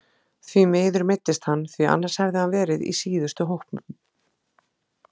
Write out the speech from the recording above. Því miður meiddist hann því annars hefði hann verið í síðustu hópum.